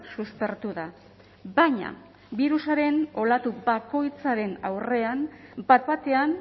suspertu da baina birusaren olatu bakoitzaren aurrean bat batean